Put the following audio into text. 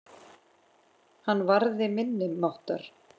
Hann varði minni máttar.